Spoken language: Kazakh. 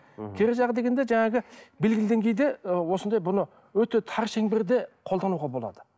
кері жағы дегенде жаңағы белгілі деңгейде ы осындай бұны өте тар шеңберде қолдануға болады